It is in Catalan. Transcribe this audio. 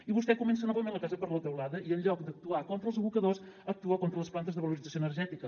i vostè comença novament la casa per la teulada i en lloc d’actuar contra els abocadors actua contra les plantes de valorització energètica